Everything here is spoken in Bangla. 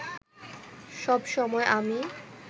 সব সময় আমি